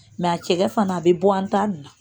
a cɛkɛ fana a bɛ bɔ an ta nin na